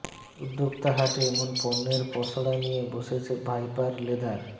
উদ্যোক্তা হাটে এমন পণ্যের পসড়া নিয়ে বসেছে ভাইপার লেদার